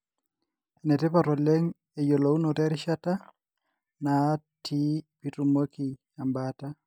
enetipat oleng eyiolounoto erishata naati pitumoki embaata.